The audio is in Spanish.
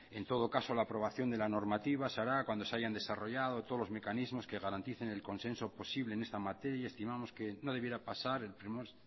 en todo caso la aprobación de la normativa se hará cuando se hayan desarrollado todos los mecanismos que garanticen el consenso posible en esta materia y estimamos que no debiera pasar del primer